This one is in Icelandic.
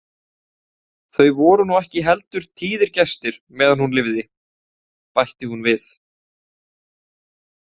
Þau voru nú ekki heldur tíðir gestir meðan hún lifði, bætti hún við.